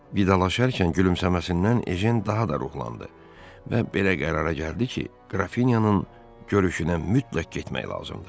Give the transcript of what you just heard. Vidalaşarkən gülümsəməsindən Ejen daha da ruhlandı və belə qərara gəldi ki, qrafinyanın görüşünə mütləq getmək lazımdır.